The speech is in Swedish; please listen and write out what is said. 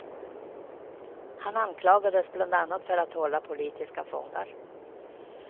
Han anklagades bland annat för att hålla politiska fångar.